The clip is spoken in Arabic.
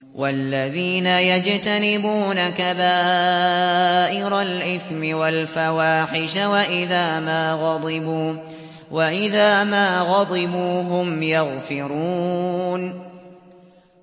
وَالَّذِينَ يَجْتَنِبُونَ كَبَائِرَ الْإِثْمِ وَالْفَوَاحِشَ وَإِذَا مَا غَضِبُوا هُمْ يَغْفِرُونَ